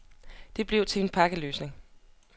Det blev til en pakkeløsning.